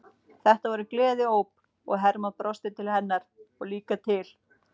Þetta voru gleðióp og Hermann brosti til hennar og líka til